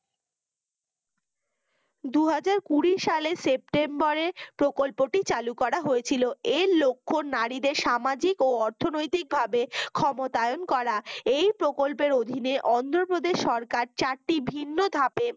দুহাজার কুড়ি সালে সেপ্টেম্বরে প্রকল্পটি চালু করা হয়েছিল। এর লক্ষ্য নারীদের সামাজিক ও অর্থনৈতিক ভাবে ক্ষমতায়ান করা। এই প্রকল্প এর অধীনে অন্ধ্র প্রদেশ সরকার চারটি ভিন্নধাপে